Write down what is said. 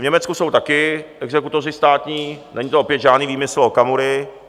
V Německu jsou taky exekutoři státní, není to opět žádný výmysl Okamury.